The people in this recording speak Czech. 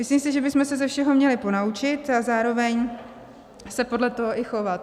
Myslím si, že bychom se ze všeho měli ponaučit a zároveň se podle toho i chovat.